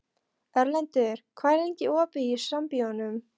Erlendur, hvað er lengi opið í Sambíóunum?